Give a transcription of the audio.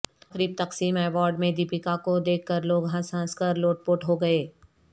تقریب تقسیم ایوارڈ میں دپیکا کو دیکھ کر لوگ ہنس ہنس کر لوٹ پوٹ ہوگئے